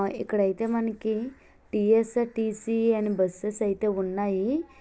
ఇక్కడ అయితే మనకి టి_ఎస్_ఆర్_టి_సి అని బస్ స్ అయితే ఉన్నాయి.